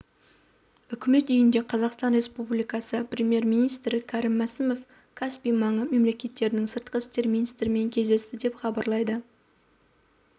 үкімет үйінде қазақстан республикасы премьер-министрі кәрім мәсімов каспий маңы мемлекеттерінің сыртқы істер министрлерімен кездесті деп хабарлады